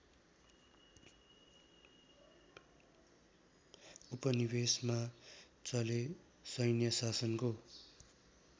उपनिवेशमा चले सैन्यशासनको